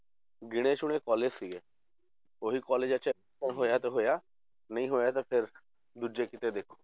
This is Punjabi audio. ਗਿਣੇ ਚੁੱਣੇ college ਸੀਗੇ, ਉਹੀ colleges 'ਚ ਹੋਇਆ ਤਾਂ ਹੋਇਆ ਨਹੀਂ ਹੋਇਆ ਤਾਂ ਫਿਰ ਦੂਜੇ ਕਿਤੇ ਦੇਖੋ